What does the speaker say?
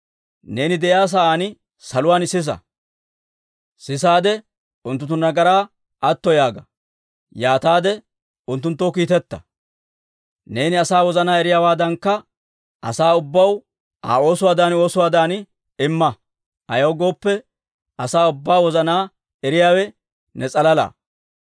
neeni de'iyaa sa'aan saluwaan sisa. Unttunttu nagaraa atto yaaga; yaataade unttunttoo kiitetta. Neeni asaa wozanaa eriyaawaadankka asaa ubbaw Aa oosuwaadan oosuwaadan imma. Ayaw gooppe, asaa ubbaa wozanaa eriyaawe ne s'alala.